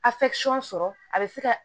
sɔrɔ a bɛ se ka